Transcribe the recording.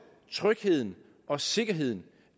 trygheden og sikkerheden